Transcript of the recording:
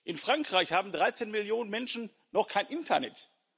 In Frankreich haben 13 Millionen Menschen noch kein Internet.